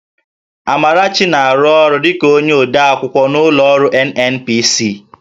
Amarachi na-arụ ọrụ dịka onye odeakwụkwọ n'ụlọ ọrụ NNPC